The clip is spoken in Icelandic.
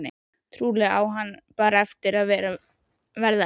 Trúlega á hann bara eftir að verða enn verri.